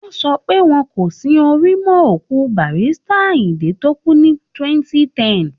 Wọ́n sọ pé wọn kò sin orí mọ́ òkú Barrister Ayindé tó kú ní 2010